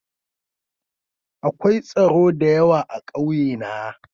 Akwai tsoro da yawa a ƙauye na.